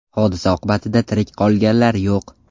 Hodisa oqibatida tirik qolganlar yo‘q.